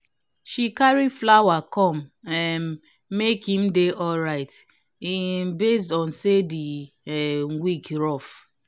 she carry flower come um make him dey alright um based on say the um week rough